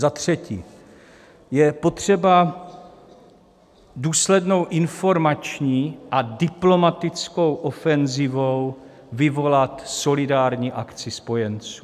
Za třetí je potřeba důslednou informační a diplomatickou ofenzivou vyvolat solidární akci spojenců.